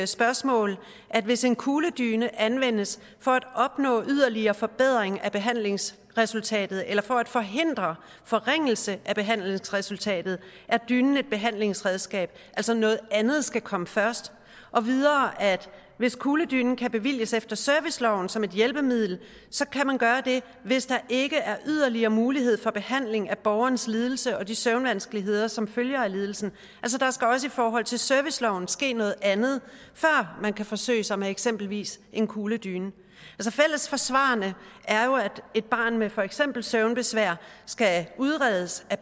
spørgsmål at hvis en kugledyne anvendes for at opnå yderligere forbedring af behandlingsresultatet eller for at forhindre forringelse af behandlingsresultatet er dynen et behandlingsredskab altså noget andet skal komme først og videre at hvis kugledynen kan bevilges efter serviceloven som et hjælpemiddel kan man gøre det hvis der ikke er yderligere mulighed for behandling af borgerens lidelse og de søvnvanskeligheder som følger af lidelsen der skal også i forhold til serviceloven ske noget andet før man kan forsøge sig med eksempelvis en kugledyne fælles for svarene er jo at et barn med for eksempel søvnbesvær skal udredes af